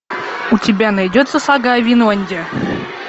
у тебя найдется сага о винланде